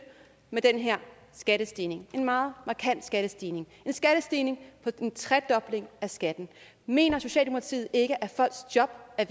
med den her skattestigning en meget markant skattestigning en skattestigning på en tredobling af skatten mener socialdemokratiet ikke at folks job er